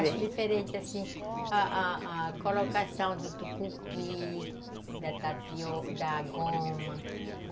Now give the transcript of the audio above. Eu acho diferente, assim, a a colocação do tucupi, da tapioca, da goma.